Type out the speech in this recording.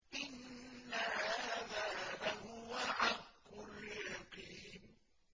إِنَّ هَٰذَا لَهُوَ حَقُّ الْيَقِينِ